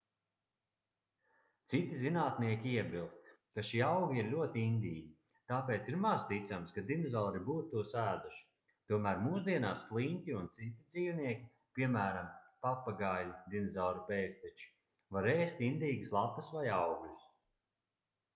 citi zinātnieki iebilst ka šie augi ir ļoti indīgi tāpēc ir maz ticams ka dinozauri būtu tos ēduši tomēr mūsdienās sliņķi un citi dzīvnieki piemēram papagaiļi dinozauru pēcteči var ēst indīgas lapas vai augļus